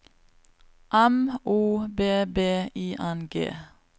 M O B B I N G